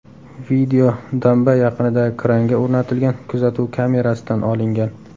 Video damba yaqinidagi kranga o‘rnatilgan kuzatuv kamerasidan olingan.